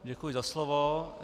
Děkuji za slovo.